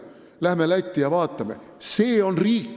Läheme Lätti ja vaatame, kuidas seal lood on!